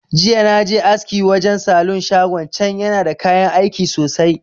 Jiya naje aski wajan salon shagon can, yana da kayan aiki sosai.